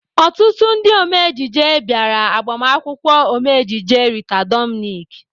Ọtụtụ ndị ome ejije bịara agbamakwụkwọ Ome ejije Rita Dominic.